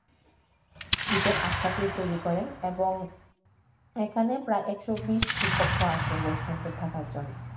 বিথঙ্গল আখড়া টি তৈরি করে এবং এখানে প্রায় একশত-বিশ টি কক্ষ আছে বৈষ্ণব দের থাকার জন্য।